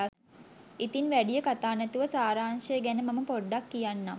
ඉතින් වැඩිය කතා නැතුව සාරාංශය ගැන මම පොඩ්ඩක් කියන්නම්.